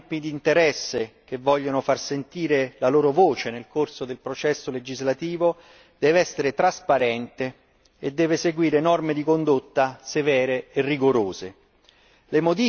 l'attività dei gruppi d'interesse che vogliono far sentire la loro voce nel corso del processo legislativo deve essere trasparente e seguire norme di condotta severe e rigorose.